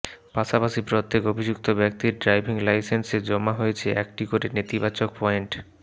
পাশাপাশি প্রত্যেক অভিযুক্ত ব্যক্তির ড্রাইভিং লাইসেন্সে জমা হয়েছে একটি করে নেতিবাচক পয়েন্ট